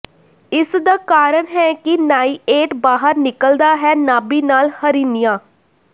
ਇਸ ਦਾ ਕਾਰਨ ਹੈ ਕਿ ਨਾਈਏਟ ਬਾਹਰ ਨਿਕਲਦਾ ਹੈ ਨਾਭੀਨਾਲ ਹਰੀਨੀਆ